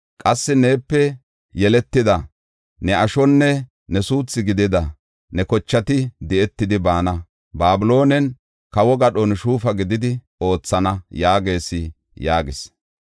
Qassi neepe yeletida ne ashonne ne suuthu gidida ne kochati di7etidi baana; Babiloonen kawo gadhon shuufa gididi oothana’ yaagees” yaagis.